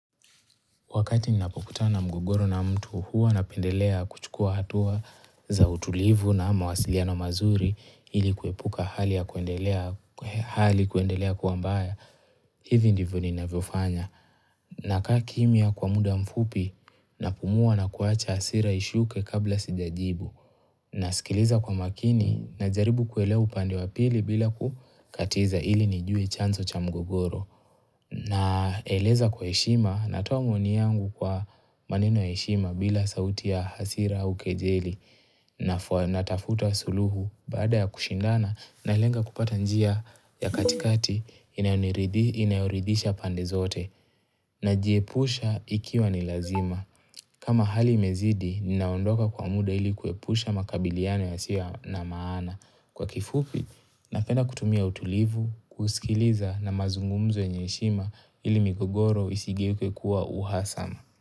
Wakati ninapokutana na mgogoro na mtu, huwa napendelea kuchukua hatua za utulivu na mawasiliano mazuri ili kuepuka hali kuendelea kuwa mbaya. Hivi ndivyo ninavyofanya. Nakaa kimya kwa muda mfupi napumua na kuacha hasira ishuke kabla sijajibu. Nasikiliza kwa makini, najaribu kuelewa upande wa pili bila kukatiza ili nijue chanzo cha mgogoro. Naeleza kwa heshima, natoa maoni yangu kwa maneno ya heshima bila sauti ya hasira au kejeli, natafuta suluhu baada ya kushindana nalenga kupata njia ya katikati inayoridhisha pande zote. Najiepusha ikiwa ni lazima. Kama hali imezidi, ninaondoka kwa muda ili kuepusha makabiliano yasiyo na maana. Kwa kifupi, napenda kutumia utulivu, kusikiliza na mazungumzo yenye heshima ili migogoro isigeuke kuwa uhasama.